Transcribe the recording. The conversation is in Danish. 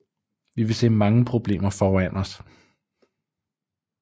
Vi vil se mange problemer foran os